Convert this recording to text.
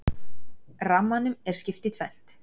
Rammanum er skipt í tvennt.